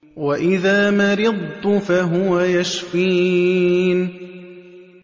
وَإِذَا مَرِضْتُ فَهُوَ يَشْفِينِ